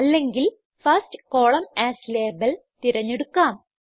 അല്ലെങ്കിൽ first column as label തിരഞ്ഞെടുക്കാം